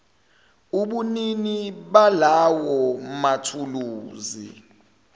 ubunini balawo mathuluzi